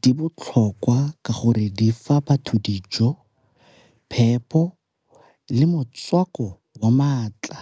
di botlhokwa ka gore di fa batho dijo, phepho, le motswako wa maatla.